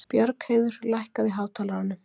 Björgheiður, lækkaðu í hátalaranum.